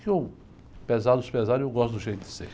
Que eu, a pesar dos pesares, eu gosto do jeito de ser.